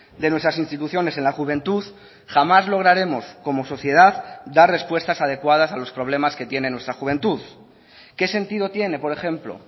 de nuestras instituciones en la juventud jamás lograremos como sociedad dar respuestas adecuadas a los problemas que tiene nuestra juventud qué sentido tiene por ejemplo